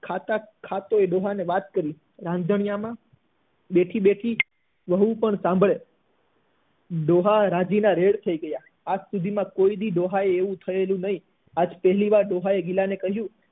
ખાતા ખાતા એણે ડોહા ને વાત કરી રાન્ધારિયા માં બેઠી બેઠી વહુ પણ સાંભળે ડોહા રાજી ના રેડ થઇ ગયા આજ સુધી ડોહા ને આવું થયેલું નહી આજ પહેલી વાર ડોહા એ ગિલા ને કહ્યું